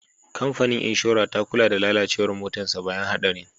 Kamfanin inshora ta kula da lalacewar motarsa ​​bayan hadarin.